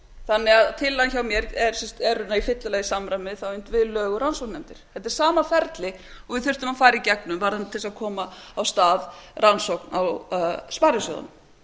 þannig að tillagan hjá mér er í fyrsta lagi til samræmis við tillögur rannsóknarnefnda þetta er sama ferli og við þurftum að fara í gegnum varðandi það að koma á stað rannsókn á sparisjóðunum